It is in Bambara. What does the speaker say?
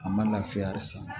A ma lafiya hali san